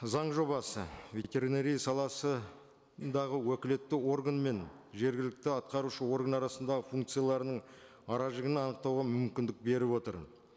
заң жобасы ветеринария саласындағы уәкілетті органы мен жергілікті атқарушы орган арасындағы функцияларының ара жігін анықтауға мүмкіндік беріп отыр